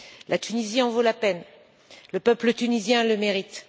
La Tunisie en vaut la peine, le peuple tunisien le mérite.